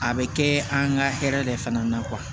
A bɛ kɛ an ka hɛrɛ de fana na